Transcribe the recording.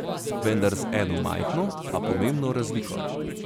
Vendar z eno majhno, a pomembno razliko.